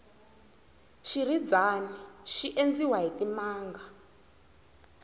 xirhidzani xi endziwa hi timanga